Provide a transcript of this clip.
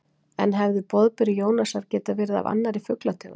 En hefði boðberi Jónasar getað verið af annarri fuglategund?